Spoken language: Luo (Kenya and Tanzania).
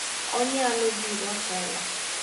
Onyalo biro telo.